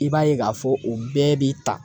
I b'a ye k'a fɔ u bɛɛ b'i ta.